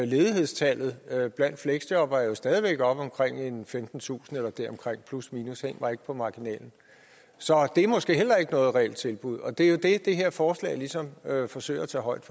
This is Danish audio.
ledighedstallet blandt fleksjobbere er jo stadig væk oppe omkring femtentusind eller deromkring plusminus hæng mig ikke op på marginalen så det er måske heller ikke noget reelt tilbud og det er jo det det her forslag ligesom forsøger at tage højde